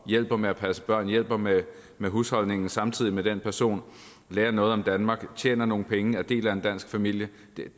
hjælper med at passe børn hjælper med med husholdningen samtidig med at den person lærer noget om danmark tjener nogle penge og er del af en dansk familie